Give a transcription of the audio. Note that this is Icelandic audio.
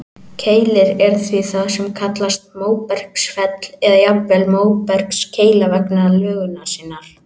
Keilir er því það sem kallast móbergsfell, eða jafnvel móbergskeila vegna lögunar sinnar.